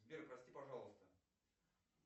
сбер прости пожалуйста